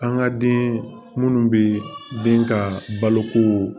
An ka den minnu bɛ den ka balo ko